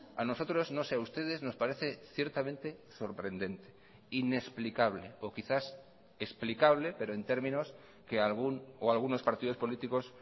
a nosotros no sé a ustedes nos parece ciertamente sorprendente inexplicable o quizás explicable pero en términos que algún o algunos partidos políticos